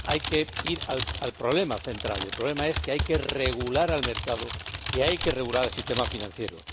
Hay que ir al problema central y el problema es que hay que regular el mercado, que hay que regular el sistema financiero.